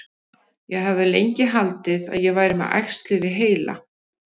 Ég hafði lengi haldið að ég væri með æxli við heila.